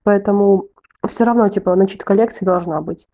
поэтому все равно типа начитка лекций должна быть